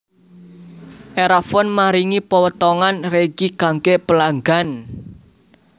Erafone maringi potongan regi kangge pelanggan